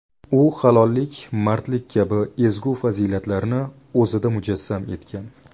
U halollik, mardlik kabi ezgu fazilatlarni o‘zida mujassam etgan.